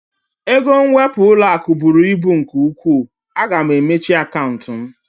Ego nwepu ụlọaku bụrụ ibu nke ụkwụ, a ga m emechi akantị m